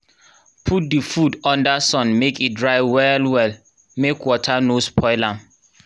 put the food under sun make e dry well well make water no spoil am